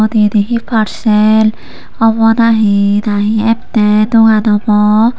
eote eani hehe parshal obow na he na atay dogan obow.